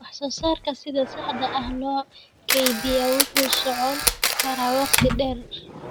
Wax soo saarka sida saxda ah loo kaydiyaa wuxuu socon karaa waqti dheer.